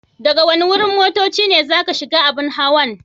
Daga wani wurin motocci ne zaka shiga abun hawan?